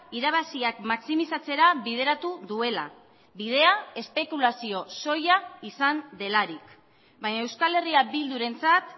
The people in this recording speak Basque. irabaziak maximizatzera bideratu duela bidea espekulazio soila izan delarik baina euskal herria bildurentzat